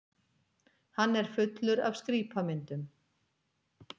Hann er fullur af skrípamyndum.